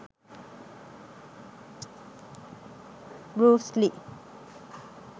bruce lee